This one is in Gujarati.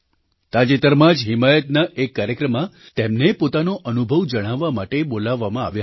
તાજેતરમાં જ હિમાયતના એક કાર્યક્રમમાં તેમને પોતાનો અનુભવ જણાવવા માટે બોલાવવામાં આવ્યા હતા